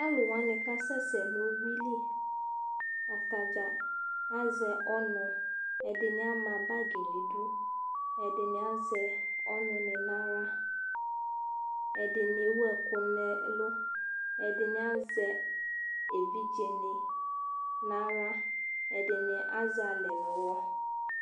Ɔlʋwanɩ k'asɛ sɛ n'uyuili Atadza azɛ ɔnʋ : ɛdɩnɩ ama bagɩ n'idu , ɛdɩnɩ azɛ ɔnʋnɩ n'aɣla Ɛdɩnɩ ewu ɛkʋ nɛ ɛlʋ , ɛdɩnɩ azɛ evidzenɩ n'aɣla , ɛdɩnɩ azɛalɛ n'ʋwɔ